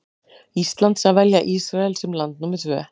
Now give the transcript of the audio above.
Íslands að velja Ísrael sem land númer tvö.